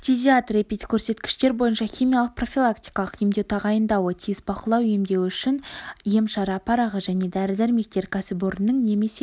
фтизиатр эпидкөрсеткіштер бойынша химиялық-профилактикалық емдеу тағайындауы тиіс бақылау емдеуі үшін ем-шара парағы және дәрі-дәрмектер кәсіпорынның немесе